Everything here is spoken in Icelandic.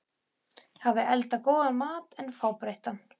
hafi eldað góðan mat en fábreyttan.